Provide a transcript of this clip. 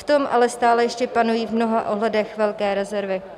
V tom ale stále ještě panují v mnoha ohledech velké rezervy.